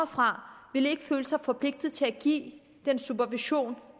fra ikke ville føle sig forpligtet til at give den supervision